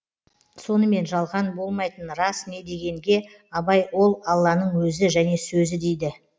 сонымен жалған болмайтын рас не дегенге абай ол алланың өзі және сөзі дейді